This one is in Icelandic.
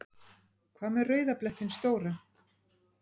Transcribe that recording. Hvað með rauða blettinn stóra?